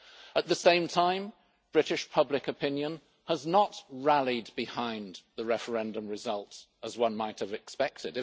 At the same time, British public opinion has not rallied behind the referendum results, as one might have expected.